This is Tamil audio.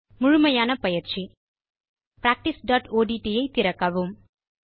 முழுமையான பயிற்சி practiceஒட்ட் ஐ திறக்கவும்